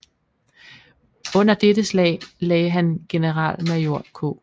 Under dette slag lagde han generalmajor K